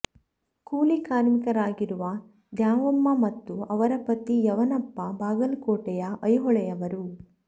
ಕೂಲಿ ಕಾರ್ಮಿಕರಾಗಿರುವ ದ್ಯಾವಮ್ಮ ಮತ್ತು ಅವರ ಪತಿ ಯಮನಪ್ಪ ಬಾಗಲಕೋಟೆಯ ಐಹೊಳೆಯವರು